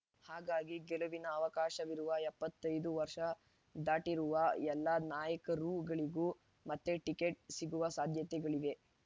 ಹಾಗಾಗಿ ಗೆಲುವಿನ ಅವಕಾಶವಿರುವ ಎಪ್ಪತ್ತ್ ಐದು ವರ್ಷ ದಾಟಿರುವ ಎಲ್ಲ ನಾಯಕರುಗಳಿಗೂ ಮತ್ತೆ ಟಿಕೆಟ್ ಸಿಗುವ ಸಾಧ್ಯತೆಗಳಿವೆ